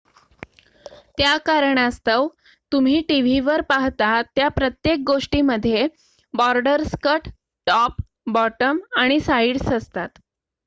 त्या कारणास्तव तुम्ही टीव्हीवर पाहता त्या प्रत्येक गोष्टीमध्ये बॉर्डर्स कट टॉप बॉटम आणि साइड्स असतात